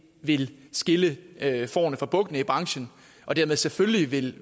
vil skille fårene fra bukkene i branchen og dermed selvfølgelig vil